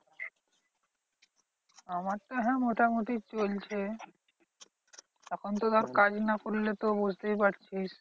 আমার তো হ্যাঁ মোটামুটি চলছে। এখন তো ধর কাজ না করলে তো বুঝতেই পারছিস।